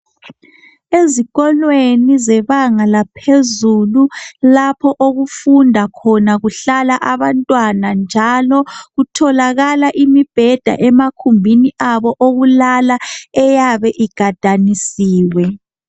Ezikolweni zebanga laphezulu lapho okufunda khona kuhlala abantwana njalo kutholakala imibheda emakhumbini abo okulala eyabe igadanisiwe.